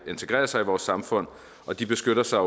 integrere sig i vores samfund og de beskytter sig